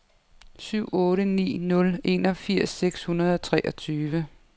syv otte ni nul enogfirs seks hundrede og treogtyve